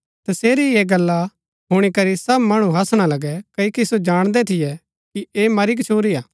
तसेरी यहा गल्ला हुणी करी सब मणु हासणा लगै क्ओकि सो जाणदै थियै कि ऐह मरी गच्छुरीआ